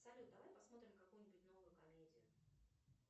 салют давай посмотрим какую нибудь новую комедию